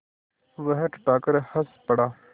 वह ठठाकर हँस पड़ा